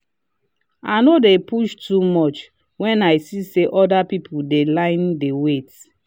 i no dey push too much when i see say other people dey line dey wait.